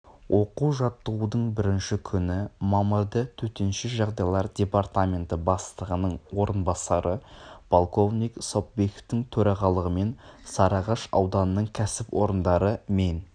оқу-жаттығудың бірінші күні мамырда төтенше жағдайлар департаменті бастығының орынбасары полковник сопбековтің төрағалығымен сарыағаш ауданының кәсіпорындары мен